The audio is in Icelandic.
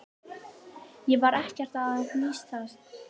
Ég var ekkert að hnýsast.